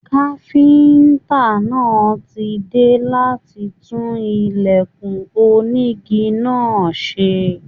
Káfíntà náà tí dé láti tún ilẹkùn onígí náà ṣe.